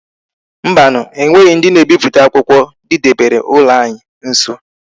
Mbanu e nweghi ndi na ebiputa akwukwo di debere ulo anyi nso